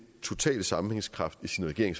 totale sammenhængskraft i sin regering